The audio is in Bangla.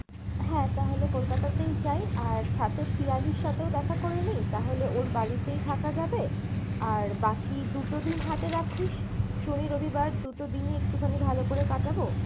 হ্যাঁ তাহলে কলকাতা তেই যায় আর সাথে পিয়ালির সাথেও দেখা করে নি? তাহলে ওর বাড়িতেই থাকা যাবে, আর বাকি দুটো দিন হাতে রাখিস শনি রবিবার দুটো দিনই একটুখানি ভালো করে কাটাবো।